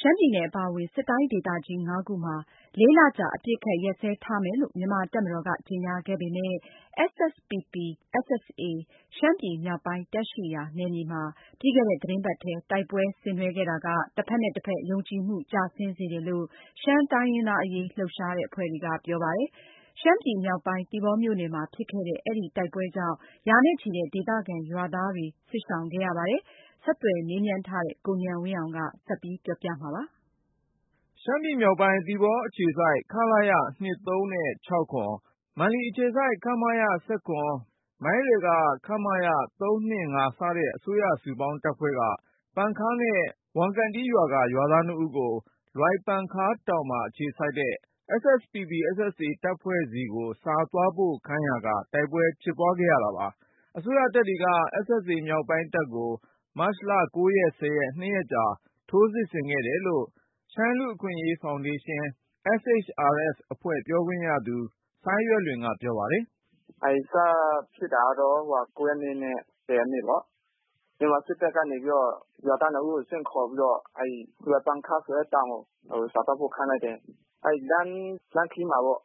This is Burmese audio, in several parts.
ရှမ်းပြည်နယ် အပါအဝင် စစ်တိုင်း ဒေသကြီး ၅ ခုမှာ ၄ လကြာ အပစ်အခတ် ရပ်စဲထားမယ်လို့ မြန်မာ့တပ်မတော်က ကြေညာခဲ့ပေမယ့် SSPP/ SSA ရှမ်းပြည်မြောက်ပိုင်းတပ် ရှိရာ နယ်မြေမှာ ပြီးခဲ့တဲ့ သီတင်းပတ်ထဲ တိုက်ပွဲဆင်နွှဲခဲ့တာက တဖက်နဲ့တဖက် ယုံကြည်မှု ကျဆင်းစေတယ်လို့ ရှမ်းတိုင်းရင်းသား အရေး လှုပ်ရှားတဲ့ အဖွဲ့တွေက ပြောဆိုလိုက်ကြပါတယ်။ ရှမ်းပြည်မြောက်ပိုင်း သီပေါမြို့နယ်မှာ ဖြစ်ခဲ့တဲ့ အဲဒီ တိုက်ပွဲကြောင့် ရာနဲ့ချီတဲ့ ဒေသခံ ရွာသားတွေ စစ်ရှောင်ခဲ့ရတယ်လို့ ဆိုပါတယ်။ ဆက်သွယ်မေးမြန်းထားတဲ့ ကိုဉာဏ်ဝင်းအောင်က ပြောပြမှာပါ။ ရှမ်းပြည်မြောက်ပိုင်း သီပေါ အခြေစိုက် ခလရ(၂၃)(၆၇)၊ မန်လီအခြေစိုက် ခမရ(၁၇)၊ မိုင်းရယ် ခမရ(၃၂၅)စတဲ့ အစိုးရ စုပေါင်းတပ်ဖွဲ့က ပန်ခါးနဲ့ ဝမ်ကွန်တီးရွာက ရွာသားနှစ်ဦးကို လွိုင်ပန်ခါးတောင်မှာ အခြေစိုက်တဲ့ SSPP/SSA တပ်ဖွဲ့ဆီ စာသွားပို့ခိုင်းရာက တိုက်ပွဲဖြစ်ပွားခဲ့ရ တာပါ။ အစိုးရတပ်ဖွဲ့တွေက SSA မြောက်ပိုင်းတပ်ကို မတ်လ(၉) (၁၀)ရက် နှစ်ရက်ကြာ ထိုးစစ်ဆင်ခဲ့တယ်လို့ ရှမ်းလူ့အခွင့်အရေး ဖေါင်ဒေးရှင်း SHRF အဖွဲ့ပြောခွင့်ရသူ စိုင်းရွက်လွင်က ပြောပါတယ်။ “ အဲဒီ စဖြစ်တာကတော့ ၉ ရက်နေ့နဲ့ ၁၀ ရက်နေ့ပေါ့။ မြန်မာ စစ်တပ်ကနေပြီးတော့ ရွာသား ၂ ဦးကို ဆင့်ခေါ်ပြီးတော့ အဲဒီ လွိုင်ပန်ခါး ဆိုတဲ့ တောင်ကို စာသွားပို့ခိုင်း လိုက်တယ်။ အဲဒီ လမ်းခရီးမှာပေါ့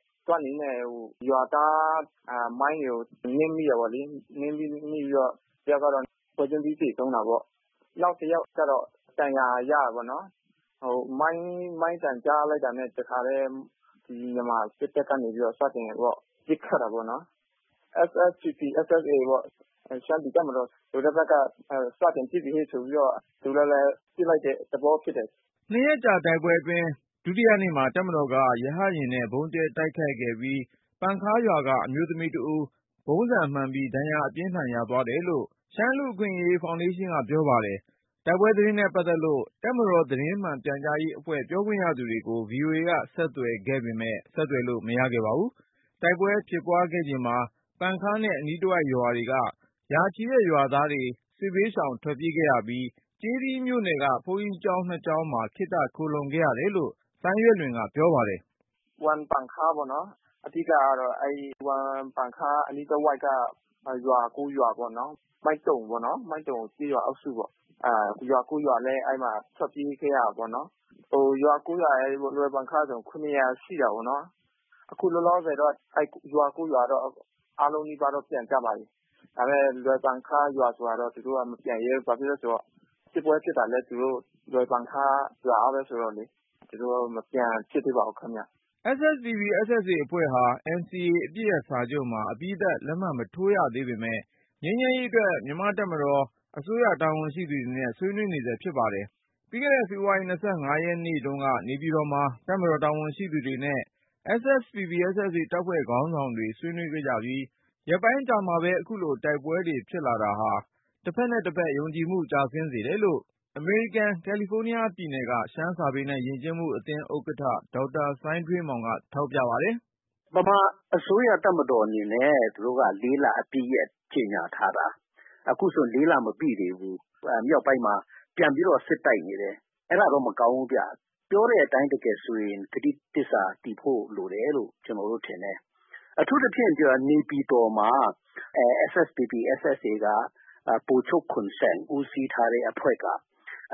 ရွာသား မိုင်းတွေကို နင်းမိတယ်ပေါ့လေ။ နင်းမိပြီးတော့ တယောက်ကတော့ ပွဲချင်းပြီး သေသွားတယ်။ နောက်တယောက်ကတော့ ဒဏ်ရာ ရတာပေါ့နော်။ မိုင်း သံကြားလိုက်တာနဲ့ တခါတည်း မြန်မာစစ်တပ်က စတင်ပြီးတော့ ပစ်ခတ်တော့တာပေါ့နော်။ SSPP/SSA ရှမ်းပြည်တပ်မတော် ဆိုတဲ့ ဘက်က စတင်ပစ်ပြီဟေ့ ဆိုပြီးတော့ သူလည်းဘဲ ပစ်လိုက်တဲ့ သဘော ဖြစ်တယ်။ ” နှစ်ရက်ကြာ တိုက်ပွဲအတွင်း ဒုတိယနေ့မှာ တပ်မတော်က ရဟတ်ယာဉ်နဲ့ ဗုံးကြဲ တိုက်ခိုက်ခဲ့ပြီး ပန်ခါးရွာက အမျိုးသမီးကြီးတဦး ဗုံးဆံမှန်ပြီး ဒဏ်ရာ အပြင်းအထန် ရသွားတယ်လို့ ရှမ်းလူ့အခွင့်အရေး ဖေါင်ဒေးရှင်းက ပြောပါတယ်။ တိုက်ပွဲသတင်းနဲ့ ပတ်သက်လို့ တပ်မတော် သတင်းမှန် ပြန်ကြားရေးအဖွဲ့ ပြောခွင့်ရသူတွေကို VOAက ဆက်သွယ်ခဲ့ပေမယ့် ဆက်သွယ်လို့ မရခဲ့ပါဘူး။ တိုက်ပွဲဖြစ်ပွားခဲ့ချိန်မှာ ပန်ခါးနဲ့ အနီးတဝိုက်ကျေးရွာတွေက ရာချီတဲ့ ရွာသားတွေ စစ်ဘေးရှောင် ထွက်ပြေးခဲ့ရပြီး၊ ကျေးသီးမြို့နယ်က ဘုန်းကြီးကျောင်း နှစ်ကျောင်းမှာ ခေတ္တ ခိုလှုံခဲ့ရတယ်လို့ စိုင်းရွက်လွင်က ပြောပါတယ်။ “ ဝမ်ပန်ခါးပေါ့နော်။ အဓိကကတော့ အဲဒီ ဝမ်ပန်ခါး အနီးတဝိုက်က ရွာ ၉ ရွာ ပေါ့နော်၊ မိုင်းတုံပေါ့နော် မိုင်းတုံ ကျေးရွာ အုပ်စုပေါ့။ ရွာ ၉ ရွာလည်း အဲဒီမှာ ထွက်ပြေးခဲ့ရတာ ပေါ့နော်။ ရွာ ၉ ရွာရယ် လွိုင်ပန်ခါးဆိုတော့ ၇၀၀ ရှိတာပေါ့နော်။ အခုလောလောဆယ်တော့ အဲဒီ ရွာ ၉ ရွာတော့ အားလုံးနီးပါးတော့ ပြန်ကြပါပြီ။ ဒါပေမယ့် လွိုင်ပန်ခါး ရွာသားတွေကတော့ မပြန်ရဲဘူး။ ဘာဖြစ်လို့လဲ ဆိုတော့ စစ်ပွဲ ဖြစ်တာလည်း သူတို့ လွိုင်ပန်ခါးရွာမှာဘဲ ဆိုတော့လေ မပြန်ဖြစ်သေးပါဘူး ခင်ဗျ။ ” ရှမ်းပြည်တိုးတက်ရေးပါတီ/ရှမ်းပြည်တပ်မတော် SSPP/SSA အဖွဲ့ဟာ NCA အပစ်ရပ်စာချုပ်မှာ အပြီးသတ် လက်မှတ်မထိုးရသေးပေမယ့် ငြိမ်းချမ်းရေးအတွက် မြန်မာ့တပ်မတော်၊ အစိုးရတာဝန်ရှိသူတွေနဲ့ ဆွေးနွေးနေဆဲ ဖြစ်ပါတယ်။ ပြီးခဲ့တဲ့ ဖေဖေါ်ဝါရီ (၂၅)ရက်နေ့တုန်းက နေပြည်တော်မှာ တပ်မတော် တာဝန်ရှိသူတွေနဲ့ SSPP/SSA တပ်ဖွဲ့ခေါင်းဆောင်တွေ ဆွေးနွေးခဲ့ကြပြီး ရက်ပိုင်းအကြာမှာပဲ ခုလို တိုက်ပွဲတွေ ဖြစ်လာတာဟာ တဖက်နဲ့တဖက် ယုံကြည်မှု ကျဆင်းစေတယ်လို့ အမေရိကန် ကာလီဖိုးနီးယား ပြည်နယ်က ရှမ်းစာပေနဲ့ ယဉ်ကျေးမှုအသင်း ဥက္ကဌ ဒေါက်တာ စိုင်းထွေးမောင်က သုံးသပ်ပါတယ်။ “ ဗမာအစိုးရ တပ်မတော် အနေနဲ့ သူတို့က ၄ လ အပစ်ရပ် ကြေညာထားတာ။ အခုဆို ၄ လ မပြည့်သေးဘူး။ မြောက်ပိုင်းမှာ ပြန်ပြီးတော့ စစ်တိုက်နေတယ်။ အဲဒါတော့ မကောင်းဘူးဗျ။ ပြောတဲ့ အတိုင်း တကယ်ဆိုရင် ကတိသစ္စာ တည်ဖို့ လိုတယ်လို့ ကျနော်တို့ ထင်တယ်။ အထူးသဖြင့် နေပြည်တော်မှာ SSPP/SSA က ဗိုလ်ချုပ် ခွန်ဆန် ဦးစီးထားတဲ့ အဖွဲ့က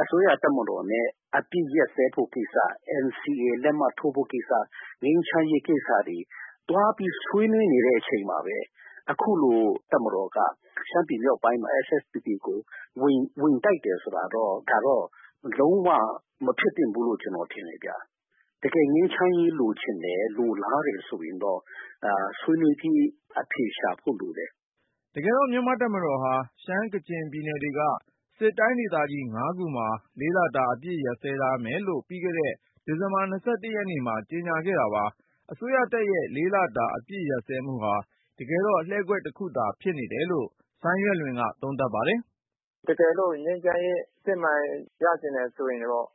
အစိုးရ တပ်မတော်နဲ့ အပစ်ရပ်စဲဖို့ကိစ္စ NCA လက်မှတ်ထိုးဖို့ ကိစ္စ၊ ငြိမ်းချမ်းရေးကိစ္စ အဲဒါတွေ သွားပြီး ဆွေးနွေးနေတဲ့ အချိန်မှာဘဲ အခုလို တပ်မတော်က ရှမ်းပြည်မြောက်ပိုင်းမှာ SSPP ကို ဝင်တိုက်တယ် ဆိုတာတော့ ဒါတော့ လုံး၀ မဖြစ်သင့်ဘူးလို့ ကျနော်ထင်တယ်ဗျ။ တကယ် ငြိမ်းချမ်းရေး လိုချင်တယ်၊ လိုလားတယ် ဆိုရင်တော့ ဆွေးနွေးပြီး အဖြေရှာဖို့ လိုတယ်။ ” တကယ်တော့ မြန်မာ့ တပ်မတော်ဟာ ရှမ်း/ကချင်ပြည်နယ်တွေက စစ်တိုင်းဒေသကြီး ၅ ခုမှာ ၄ လတာ အပစ်ရပ်စဲထားမယ်လို့ ပြီးခဲ့တဲ့ ဒီဇင်ဘာ ၂၁ ရက်နေ့မှာ ကြေညာခဲ့တာပါ။ အစိုးရတပ်ရဲ့ ၄ လတာ အပစ်ရပ်စဲမှုဟာ တကယ်တော့ လှည့်ကွက်တခုသာဖြစ်တယ်လို့ SHRF က စိုင်းရွက်လွင်က သုံးသပ်ပါတယ်။ “ တကယ်လို့ ငြိမ်းချမ်းရေး အစစ်အမှန် ရချင်တယ် ဆိုရင်တော့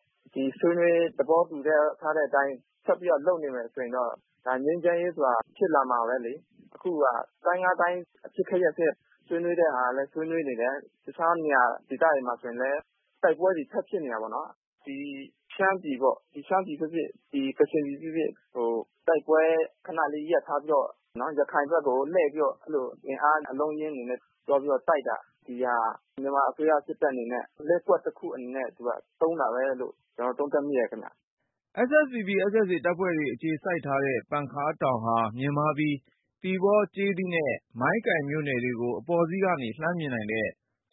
ဆွေးနွေး သဘောတူထားတဲ့ အတိုင်း ဆက်ပြီးတော့ လုပ်နေမယ် ဆိုရင်တော့ ဒါ ငြိမ်းချမ်းရေး ဆိုတာ ဖြစ်လာမှာဘဲလေ။ အခုဟာ တိုင်း ၅ တိုင်း အပစ်အခတ် ရပ်စဲ ဆွေးနွေးတဲ့ဟာကလည်း ဆွေးနွေးနေတယ်။ တခြား နေရာ ဒေသတွေမှာ ဆိုရင်လည်း တိုက်ပွဲတွေ ထပ်ဖြစ်နေတာပေါ့။ ဒီ ရှမ်းပြည်ပေါ့ ရှမ်းပြည် ဖြစ်ဖြစ်၊ ကချင်ပြည် ဖြစ်ဖြစ် တိုက်ပွဲ ခနလေး ရပ်ထားပြီးတော့ ရခိုင်ဘက်ကို လှည့်ပြီးတော့ အင်အား အလုံးအရင်းတွေနဲ့ သွားပြီးတော့ တိုက်တာ၊ ဒီဟာ မြန်မာ အစိုးရစစ်တပ် အနေနဲ့ လှည့်ကွက်တခု အနေနဲ့ သုံးတာဘဲလို့ ကျနော် သုံးသပ်မိတယ် ခင်ဗျ။” SSPP/SSA တပ်ဖွဲ့တွေ အခြေစိုက်ထားတဲ့ ပန်ခါးတောင်ဟာ မြင့်မားပြီး သီပေါ၊ ကျေးသီးနဲ့ မိုင်းကိုင်မြို့နယ်တွေကို အပေါ်စီးကနေ လှမ်းမြင်နိုင်တဲ့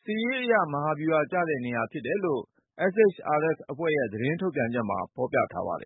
စစ်ရေးအရ မဟာဗျူဟာကျတဲ့ နေရာဖြစ်တယ်လို့ SHRF အဖွဲ့ရဲ့ သတင်းထုတ်ပြန်ချက်မှာ ဖေါ်ပြထားပါတယ်